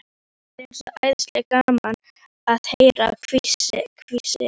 Það er svo æðislega gaman að heyra hvissið.